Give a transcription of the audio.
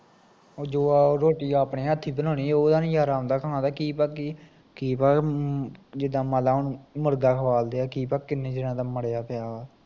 ਓਹ ਜੋ ਰੋਟੀ ਆਪਣੇ ਹੱਥੀਂ ਬਣਾਉਣੀ ਓਦਾ ਈ ਮਜ਼ਾ ਆਉਂਦਾ ਖਾਣ ਦਾ, ਕੀ ਪਤਾ ਕੀ ਪਾ ਕੇ, ਜਿਦਾਂ ਮਨਲਾ ਹੁਣ ਮੁਰਗਾ ਖਵਾਲਦੇ ਆ ਕੀ ਪਤਾ ਕਿੰਨੇ ਦਿਨ ਦਾ ਮਰਿਆ ਪਿਆ ਵਾ